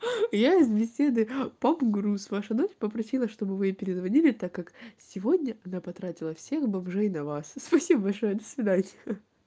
я из беседы поп груз ваша дочь попросила чтобы вы ей перезвонили так как сегодня она потратила всех бомжей на вас спасибо большое до свидания ха-ха